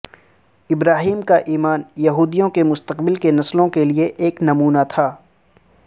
ابراہیم کا ایمان یہودیوں کے مستقبل کے نسلوں کے لئے ایک نمونہ تھا